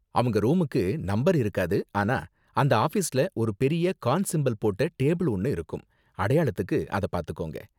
அவங்க ரூமுக்கு நம்பர் இருக்காது, ஆனா அந்த ஆஃபீஸ்ல ஒரு பெரிய கான் சிம்பல் போட்ட டேபிள் ஒன்னு இருக்கும். அடையாளத்துக்கு அதை பாத்துக்கோங்க.